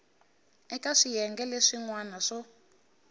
eka swiyenge leswin wana swo